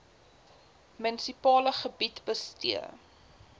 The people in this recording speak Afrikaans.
munisipale gebied bestee